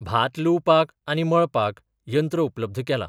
भात लुवपाक आनी मळपाक यंत्र उपलब्ध केलां.